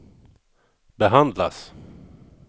behandlas